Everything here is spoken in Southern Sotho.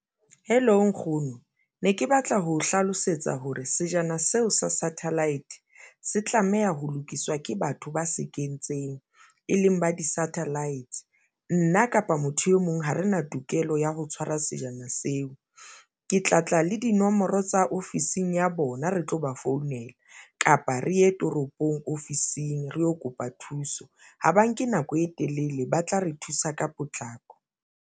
Hello nkgono ne ke batla ho hlalosetsa hore sejana seo sa satellite se tlameha ho lokiswa ke batho ba se kentseng e leng ba di-satellite nna kapa motho e mong ha re na tokelo ya ho tshwara sejana seo. Ke tla tla le dinomoro tsa ofising ya bona, re tlo ba founela kapa re ye toropong ofising re lo kopa thuso ha ba nke nako e telele, ba tla re thusa ka potlako.